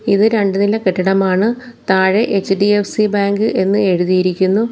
ഇത് രണ്ടുനില കെട്ടിടമാണ് താഴെ എച്ച്_ഡി_എഫ്_സി ബാങ്ക് എന്ന് എഴുതിയിരിക്കുന്നു.